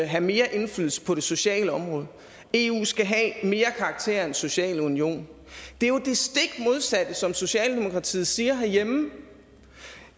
have mere indflydelse på det sociale område eu skal have mere karakter af en social union det er jo det stik modsatte som socialdemokratiet siger herhjemme